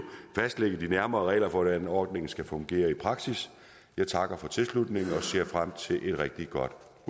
fastlægge de nærmere regler for hvordan ordningen skal fungere i praksis jeg takker for tilslutningen og ser frem til et rigtig godt